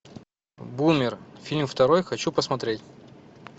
бумер фильм второй хочу посмотреть